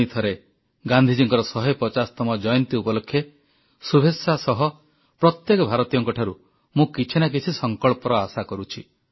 ପୁଣି ଥରେ ଗାନ୍ଧୀଜୀଙ୍କର 150ତମ ଜୟନ୍ତୀ ଉପଲକ୍ଷେ ଶୁଭେଚ୍ଛା ସହ ପ୍ରତ୍ୟେକ ଭାରତୀୟଙ୍କଠାରୁ ମୁଁ କିଛି ନା କିଛି ସଂକଳ୍ପର ଆଶା କରୁଛି